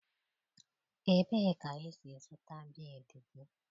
Ebee ka ị si zụta bịịdii gị?